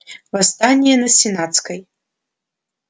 восстание на сенатской